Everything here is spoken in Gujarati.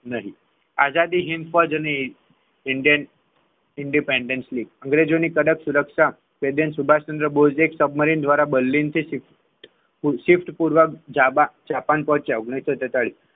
નહીં આઝાદ હિન્દ ફોજની ઇન્ડિયન independently અંગ્રેજોની કડક સુરક્ષા સુભાષચંદ્ર બોઝ એક સબમરીન દ્વારા બર્લિન થી જાપાન પહોંચ્યા. ઓગણીસો સુડતાળીસ,